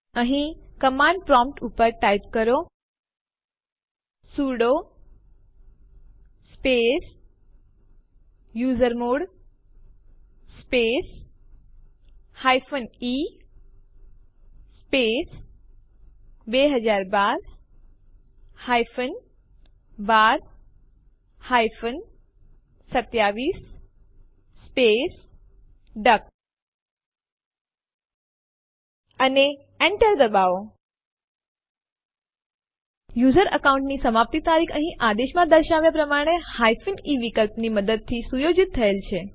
અહીં command prompt ઉપર type કરો sudo space usermod space e space 2012 12 27 space duck અને Enter ડબાઓ યુઝર અકાઉન્ટ ની સમાપ્તિ તારીખ અહીં આદેશમાં દર્શાવ્યા પ્રમાણે e વિકલ્પની મદદથી સુયોજિત થયેલ છે